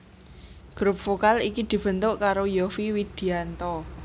Grup vokal iki dibentuk karo Yovie Widianto